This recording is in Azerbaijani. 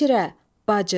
Həmşirə, bacı.